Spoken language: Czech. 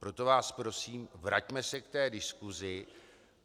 Proto vás prosím, vraťme se k té diskusi.